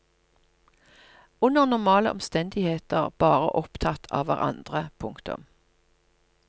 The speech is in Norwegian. Under normale omstendigheter bare opptatt av hverandre. punktum